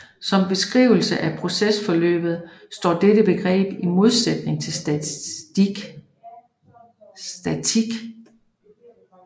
Som beskrivelse af procesforløb står dette begreb i modsætning til statik